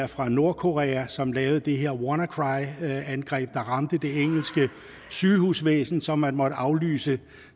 fra nordkorea som lavede det her wannacry angreb der ramte det engelske sygehusvæsen så man måtte aflyse